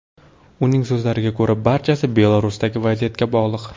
Uning so‘zlariga ko‘ra, barchasi Belarusdagi vaziyatga bog‘liq.